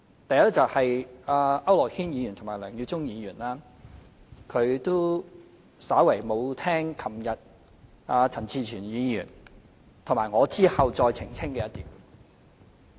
第一，區諾軒議員和梁耀忠議員沒有聽清楚昨天當陳志全議員發言後我澄清的一點。